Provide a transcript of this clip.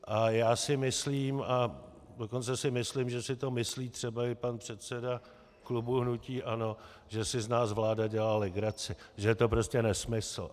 A já si myslím, a dokonce si myslím, že si to myslí třeba i pan předseda klubu hnutí ANO, že si z nás vláda dělá legraci, že je to prostě nesmysl.